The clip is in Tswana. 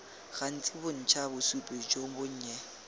gantsi bontsha bosupi jo bonnye